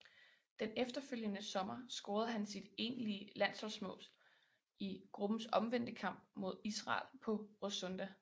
Den efterfølgende sommer scorede han sit enlige landsholdsmål i gruppens omvendte kamp mod Israel på Råsunda